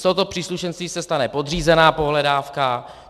Z tohoto příslušenství se stane podřízená pohledávka.